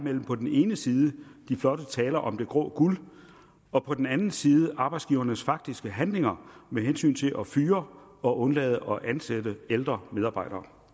mellem på den ene side de flotte taler om det grå guld og på den anden side arbejdsgivernes faktiske handlinger med hensyn til at fyre og undlade at ansætte ældre medarbejdere